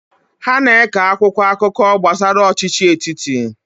Ha na-eke akwụkwọ akụkọ gbasara ọchịchị etiti.